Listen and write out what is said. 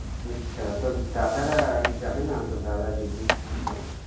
আচ্ছা তোর দাদারা যাবে না, তোর দাদা দিদি কেউ?